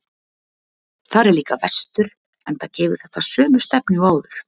Þar er líka vestur, enda gefur þetta sömu stefnu og áður.